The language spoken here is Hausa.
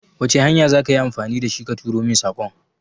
Wace hanya za ka yi amfani da shi ka turo min saƙon?